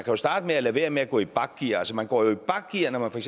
jo starte med at lade være med at gå i bakgear altså man går jo i bakgear når man for